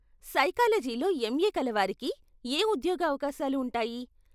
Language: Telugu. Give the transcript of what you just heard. సైకాలజీలో ఎంఏ కలవారికి ఏ ఉద్యోగ అవకాశాలు ఉంటాయి?